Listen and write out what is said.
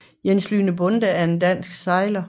Jes Lyhne Bonde er en dansk sejler